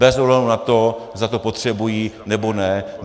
Bez ohledu na to, zda to potřebují, nebo ne.